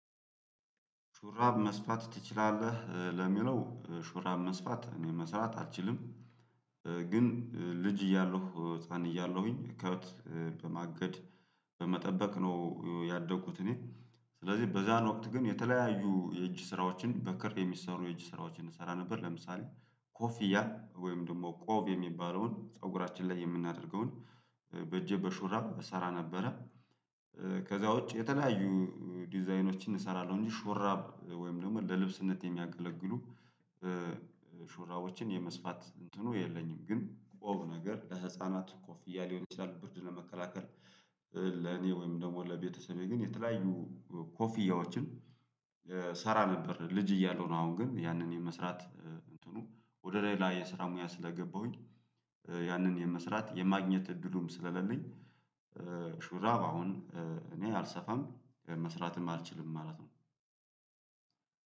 ሹራብ መስፋት ትችላለህ ለሚለው ሹራብ መስፋት እኔ መስራት አልችልም። ግን ልጅ እያለሁ ህፃን እያለሁኝ ከብት በማገድ በመጠበቅ ነው ያደኩት። እኔ ስለዚህ በዛን ወቅት ግን የተለያዩ የእጅ ስራዎችን በክር የሚሰሩ የእጅ ስራዎችን እንሰራ ነበር ለምሳሌ ኮፊያ ወይም ደግሞ ቆብ የሚባለውን ፀጉራችን ላይ የምናደርገውን በእጄ በሹራብ እሰራ ነበረ። ከዛ ውጪ የተለያዩ ዲዛይኖችን እሰራለሁ ሹራብ ወይም ደግሞ ለልብስነት የሚያገለግሉ ሹራቦችን የመስፋት እንትኑ የለኝም። ግን ቆብ ነገር ለህፃናት ኮፍያ ሊሆን ይችላል ብርድ ለመከላከል ለኔ ወይም ደግሞ ለቤተሰቤ ግን የተለያዩ ኮፊያዎችን እሰራ ነበር። ልጅ እያለሁ ነው አሁን ግን ያንን የመስራት እንትኑ ወደ ሌላ የስራ ሙያ ስለገባሁኝ ያንን የመስራት የማግኘት እድሉም ስለሌለኝ። ሹራብ አሁን እኔ አልሰፋም መስራትም አልችልም ማለት ነው።